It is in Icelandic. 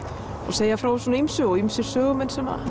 segja frá ýmsu og ýmsir sögumenn sem að